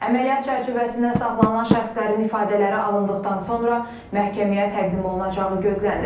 Əməliyyat çərçivəsində saxlanılan şəxslərin ifadələri alındıqdan sonra məhkəməyə təqdim olunacağı gözlənilir.